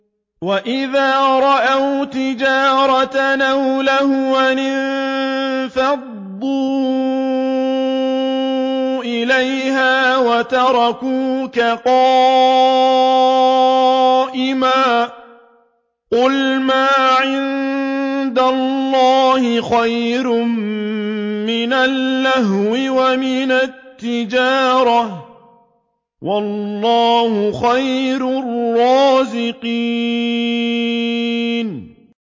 وَإِذَا رَأَوْا تِجَارَةً أَوْ لَهْوًا انفَضُّوا إِلَيْهَا وَتَرَكُوكَ قَائِمًا ۚ قُلْ مَا عِندَ اللَّهِ خَيْرٌ مِّنَ اللَّهْوِ وَمِنَ التِّجَارَةِ ۚ وَاللَّهُ خَيْرُ الرَّازِقِينَ